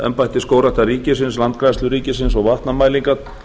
embætti skógræktar ríkisins landgræðslu ríkisins og vatnamælingar